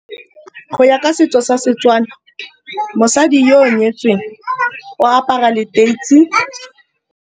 Go ya ka setso sa Setswana mosadi yo o nyetsweng o apara leteisi.